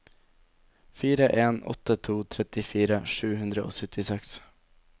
fire en åtte to trettifire sju hundre og syttiseks